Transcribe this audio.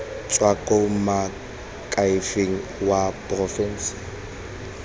tswa kwa moakhaefeng wa porofense